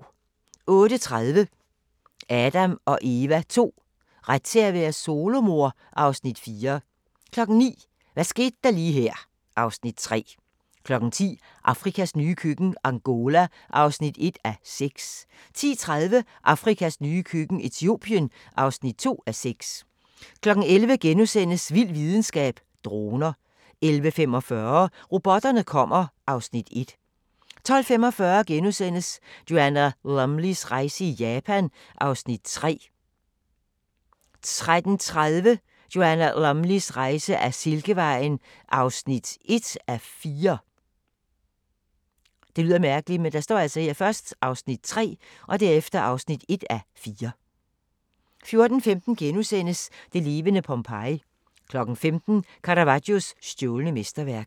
08:30: Adam & Eva II: Ret til at være solomor? (Afs. 4) 09:00: Hvad skete der lige her (Afs. 3) 10:00: Afrikas nye køkken - Angola (1:6) 10:30: Afrikas nye køkken – Etiopien (2:6) 11:00: Vild videnskab: Droner * 11:45: Robotterne kommer (Afs. 1) 12:45: Joanna Lumleys rejse i Japan (Afs. 3)* 13:30: Joanna Lumleys rejse ad Silkevejen (1:4) 14:15: Det levende Pompeji * 15:00: Caravaggios stjålne mesterværk